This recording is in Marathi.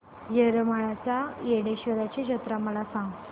येरमाळ्याच्या येडेश्वरीची जत्रा मला सांग